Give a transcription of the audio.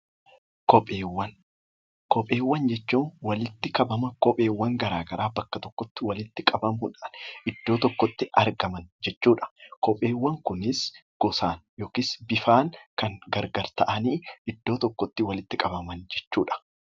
Koheewwan Kopheewwan jechuun walitti qabama kopheewwan gara garaa bakka tokkotti walitti qabamuu dhaan iddoo tokkotti argaman jechuu dha. Kopheewwan kunis gosaan yookiis bifaan kan gargar ta'anii iddoo tokkotti walitti qabaman jechuu dha.